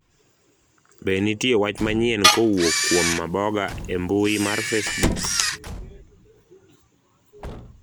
be nitie wach manyien kowuok kuom Maboga e mbui mar facebook